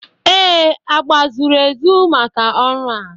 Ee, agba zuru ezu maka ọrụ a